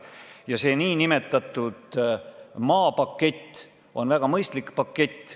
Ja see nn maapakett on väga mõistlik pakett.